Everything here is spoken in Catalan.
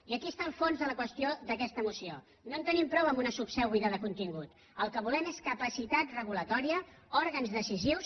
i aquí està el fons de la qüestió d’aquesta moció no en tenim prou amb una subseu buida de contingut el que volem és capacitat reguladora òrgans decisius